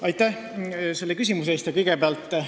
Aitäh selle küsimuse eest!